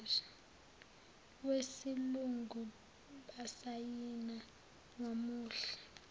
wesilungu basayina kwamuhle